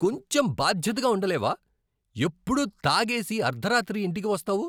కొంచెం బాధ్యతగా ఉండ లేవా? ఎప్పుడూ తాగేసి అర్థరాత్రి ఇంటికి వస్తావు.